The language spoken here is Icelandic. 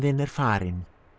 er farinn